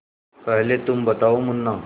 पहले तुम बताओ मुन्ना